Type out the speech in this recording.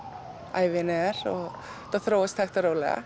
ævin er þetta þróast hægt og rólega